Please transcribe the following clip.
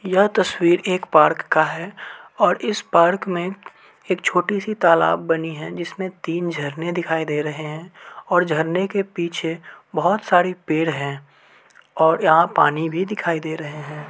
यह तस्वीर एक पार्क का है और इस पार्क में एक छोटी-सी तालाब बनी है। जिसमें तीन झरने दिखाई दे रहे हैं और झरने के पीछे बहुत सारी पेड़ हैं और यहां पानी भी दिखाई दे रहे हैं।